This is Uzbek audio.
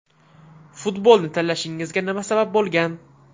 Futbolni tanlashingizga nima sabab bo‘lgan?